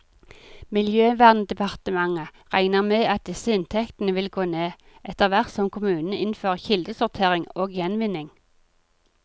Miljøverndepartementet regner med at disse inntektene vil gå ned, etterhvert som kommunene innfører kildesortering og gjenvinning.